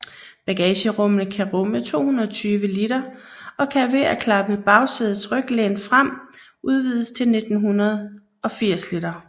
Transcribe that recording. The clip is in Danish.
Bagagerummet kan rumme 220 liter og kan ved at klappe bagsædets ryglæn frem udvides til 980 liter